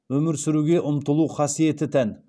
өмір сүруге ұмтылу қасиеті тән